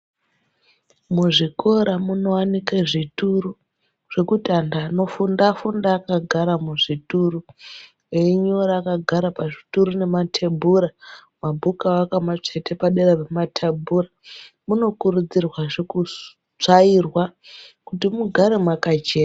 Muzvikora munowanike zvituro zvokuti anhu vanofunda vanofunda vakagara muzvituro eyinyora vakagara muzvituro nematebhura mabhuku avo vakamatsveta padera rematebhura. Munokurudzirwa zve kutsvairwa kuti mugare makachena.